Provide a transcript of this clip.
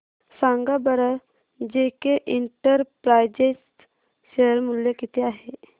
सांगा बरं JK enterprises share मूल्य किती आहे